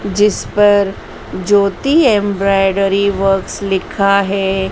जिस पर Jyoti embroidery works लिखा है।